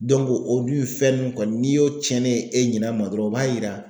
Dɔnku o dun fɛn nun kɔni n'i y'o cɛnnen ye e ɲinɛ ma dɔrɔn o b'a yira